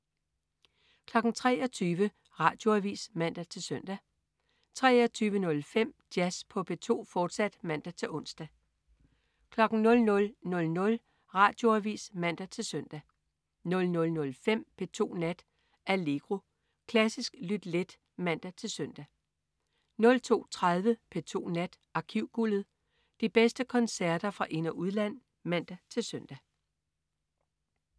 23.00 Radioavis (man-søn) 23.05 Jazz på P2, fortsat (man-ons) 00.00 Radioavis (man-søn) 00.05 P2 Nat. Allegro. Klassisk lyt let (man-søn) 02.30 P2 Nat. Arkivguldet. De bedste koncerter fra ind- og udland (man-søn)